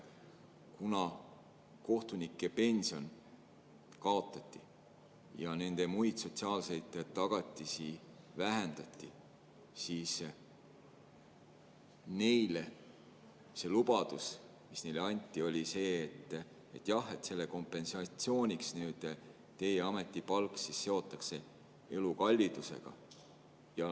Kuna kohtunikupension kaotati ja nende muid sotsiaalseid tagatisi vähendati, siis lubadus, mis neile anti, oli see, et selle kompensatsiooniks seotakse nende ametipalk elukallidusega.